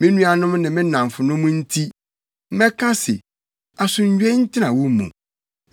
Me nuanom ne me nnamfonom nti, mɛka se, “Asomdwoe ntena wo mu.”